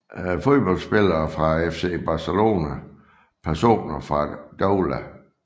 Fodboldspillere fra FC Barcelona Personer fra Doula